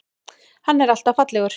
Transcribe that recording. Hann er alltaf fallegur.